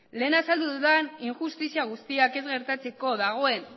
lehen azaldu dudan injustizia guztiak ez gertatzeko dagoen